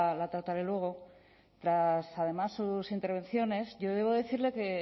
la trataré luego tras además sus intervenciones yo debo decirle que